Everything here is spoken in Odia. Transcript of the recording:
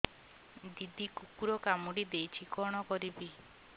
ଦିଦି କୁକୁର କାମୁଡି ଦେଇଛି କଣ କରିବି